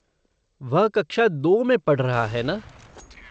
वह कक्षा दो में पढ़ रहा है ना?